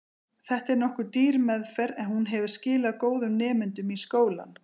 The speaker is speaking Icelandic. Þetta er nokkuð dýr aðferð, en hún hefur skilað góðum nemendum í skólann.